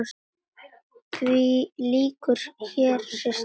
Því lýkur hér, systir mín.